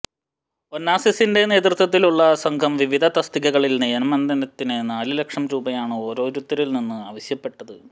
ഒനാസിസിന്റെ നേതൃത്വത്തിലുള്ള സംഘം വിവിധ തസ്തികകളിൽ നിയമനത്തിന് നാലുലക്ഷം രൂപയാണ് ഓരോരുത്തരിൽനിന്നും ആവശ്യപ്പെട്ടത്